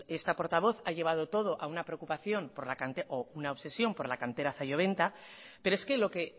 esta portavoz ha llevado todo a una preocupación o una obsesión por la cantera zalloventa pero es que lo que